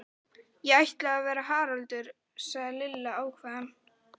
Ég ætla að vera Haraldur sagði Lilla ákveðin.